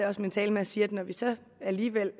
også min tale med at sige at når vi så alligevel